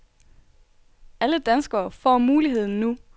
Alle danskere får muligheden nu.